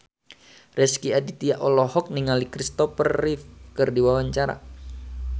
Rezky Aditya olohok ningali Christopher Reeve keur diwawancara